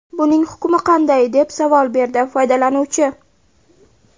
Buning hukmi qanday?” deb savol berdi foydalanuvchi.